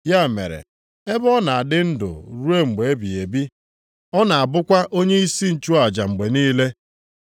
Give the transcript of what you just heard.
Ya mere, ebe ọ na-adị ndụ ruo mgbe ebighị ebi, ọ na-abụkwa onyeisi nchụaja mgbe niile.